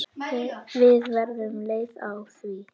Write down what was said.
Við verðum leið á því.